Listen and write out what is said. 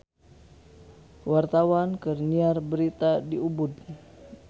Wartawan keur nyiar berita di Ubud